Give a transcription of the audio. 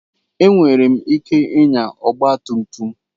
Enwere m ike ịnya ọgba tum tum.